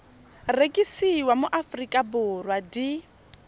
rekisiwa mo aforika borwa di